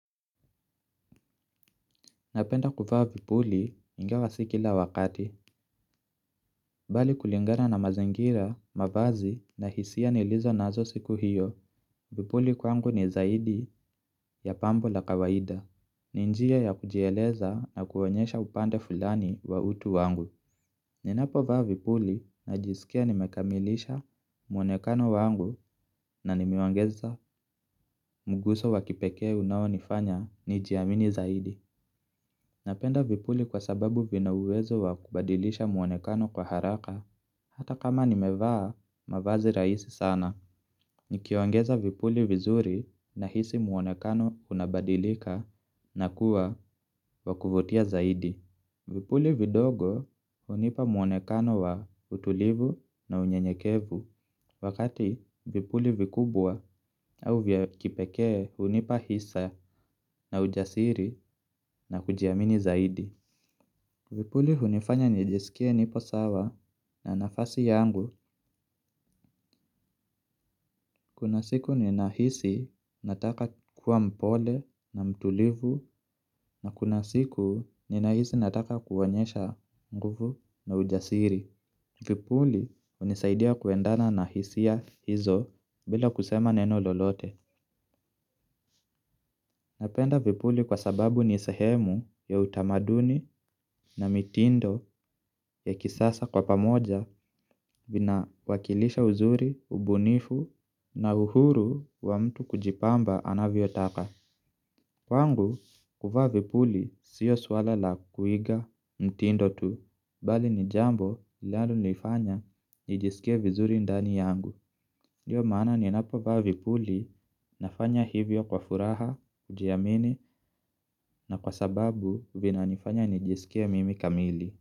Napenda kuvaa vipuli, ingewa s ikila wakati. Bali kulingana na mazingira, mavazi na hisia nilizo nazo siku hiyo. Vipuli kwangu ni zaidi, ya pambo la kawaida. Ni njia ya kujieleza na kuonyesha upande fulani, wa utu wangu. Ninapo vaa vipuli na jisikia nimekamilisha mwonekano wangu na nimeongeza muguso wakipekee unawonifanya, nijiamini zaidi. Napenda vipuli kwa sababu vina uwezo wa kubadilisha muonekano kwa haraka, hata kama nimevaa, mavazi rahisi sana. Nikiongeza vipuli vizuri, na hisi muonekano unabadilika na kuwa, wakuvotia zaidi. Vipuli vidogo, hunipa muonekano wa utulivu na unyenyekevu, wakati vipuli vikubwa au vya kipekee, hunipa hisaya na ujasiri na kujiamini zaidi. Vipuli hunifanya nijisikie nipo sawa na nafasi yangu, kuna siku ninahisi, nataka kuwa mpole na mtulivu. Na kuna siku ninahisi nataka kuonyesha, nguvu na ujasiri. Vipuli, unisaidia kuendana na hisia hizo, bila kusema neno lolote. Napenda vipuli kwa sababu nisehemu, ya utamaduni na mitindo ya kisasa kwa pamoja, ina wakilisha uzuri, ubunifu na uhuru wa mtukujipamba, anavyotaka. Kwangu, kuvaa vipuli, sio swala la, kuiga mtindo tu, bali ni jambo, linalo nifanya nijisikie vizuri ndani yangu. Io maana ni napo vaa vipuli, nafanya hivyo kwa furaha ujiamini na kwa sababu, vina nifanya nijisikie mimi kamili.